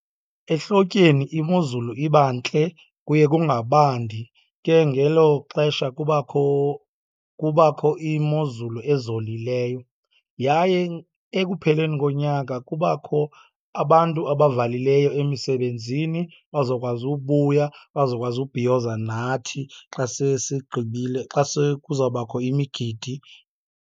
Ehlotyeni imozulu iba ntle, kuye kungabandi. Ke ngelo xesha kubakho, kubakho imozulu ezolileyo. Yaye ekupheleni konyaka kubakho abantu abavalileyo emisebenzini bazokwazi ubuya, bazokwazi ubhiyoza nathi xa sesigqibile, xa sekuzawubakho imigidi.